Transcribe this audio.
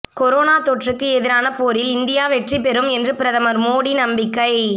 corona தொற்றுக்கு எதிரான போரில் இந்தியா வெற்றி பெறும் என்று பிரதமர் மோடி நம்பிக்கை